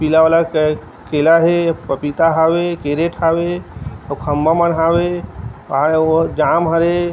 पीला वाला केला हे पपीता हवे कैरेट हवे खम्बा हवे अऊ ओहा जाम हरे।